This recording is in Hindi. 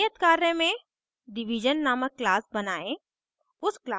नियत कार्य में division named class बनायें